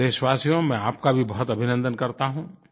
देशवासियो में आपका भी बहुत अभिनन्दन करता हूँ